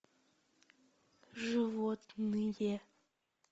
животные